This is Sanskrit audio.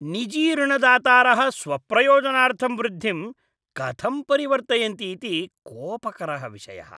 निजी ऋणदातारः स्वप्रयोजनार्थं वृद्धिं कथं परिवर्तयन्ति इति कोपकरः विषयः।